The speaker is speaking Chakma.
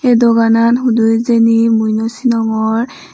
ye doganan hudu hijeni mui no sinongor.